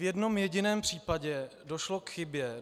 V jednom jediném případě došlo k chybě.